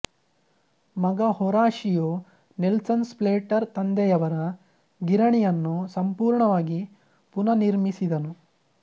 ಮಗ Horatio Nelson Slater ತಂದೆಯವರ ಗಿರಣಿಯನ್ನು ಸಂಪೂರ್ಣವಾಗಿ ಪುನರ್ನಿರ್ಮಿಸಿದನು